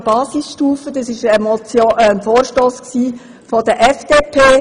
Es ging um die Basisstufe, und es war ein Vorstoss der FDP.